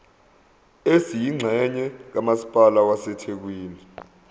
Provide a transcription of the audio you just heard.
esiyingxenye kamasipala wasethekwini